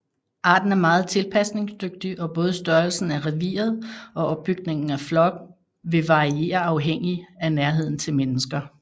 Arten er meget tilpasningsdygtig og både størrelsen af reviret og opbygningen af flokken vil variere afhængig af nærheden til mennesker